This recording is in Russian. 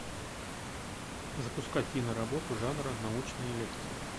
запускай киноработу жанра научные лекции